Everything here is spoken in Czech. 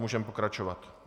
Můžeme pokračovat.